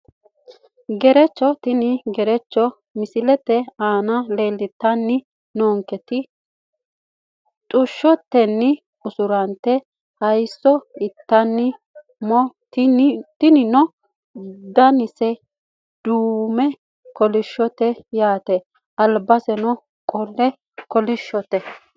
Gerecho tini gerecho misilete aana leeltani noonketi xushshoteni usurante haayisso itani mo tinino danase duume kolishooti yaate albaseno qole kolishote.